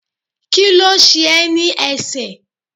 Kíló ṣe ẹ́ ní ẹsẹ̀?